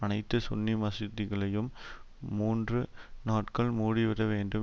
அனைத்து சுன்னி மசூதிகளையும் மூன்று நாட்கள் மூடிவிட வேண்டும்